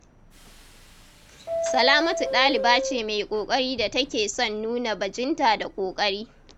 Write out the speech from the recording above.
Salamatu ɗaliba ce mai ƙoƙari da take son nuna bajinta da ƙoƙari.